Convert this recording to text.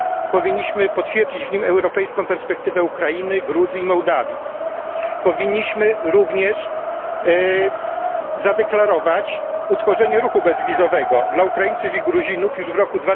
Powinniśmy potwierdzić w nim europejską perspektywę Ukrainy, Gruzji i Mołdawii, powinniśmy również zadeklarować utworzenie ruchu bezwizowego dla Ukraińców i Gruzinów już w roku